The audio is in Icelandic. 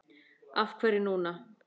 Af hverju núna?